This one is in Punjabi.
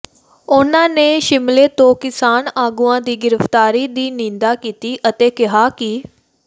ਉਹਨਾਂ ਨੇ ਸਿਮਲੇ ਤੋਂ ਕਿਸਾਨ ਆਗੂਆਂ ਦੀ ਗ੍ਰਿਫਤਾਰੀ ਦੀ ਨਿੰਦਾ ਕੀਤੀ ਅਤੇ ਕਿਹਾ ਕਿ